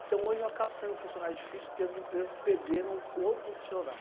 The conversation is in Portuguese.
Então hoje eu acabo sendo um funcionário difícil porque as empresas perderam o profissional.